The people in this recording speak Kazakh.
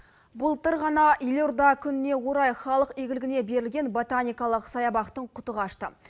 былтыр ғана елорда күніне орай халық игілігіне берілген ботаникалық саябақтың құты қашты